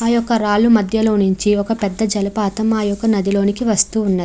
ఆ యొక్క రాళ్ళూ మధ్య లొనుంచి ఒక పెద్ద జలపాతం ఆ యొక్క నదిలోకి వస్తూవున్నది.